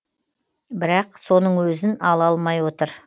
бірақ соның өзін ала алмай отыр